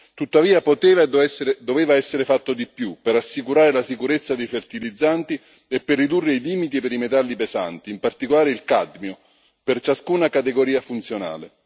Tuttavia poteva e doveva essere fatto di più per assicurare la sicurezza dei fertilizzanti e per ridurre i limiti per i metalli pesanti, in particolare il cadmio, per ciascuna categoria funzionale.